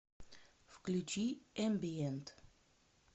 включи эмбиент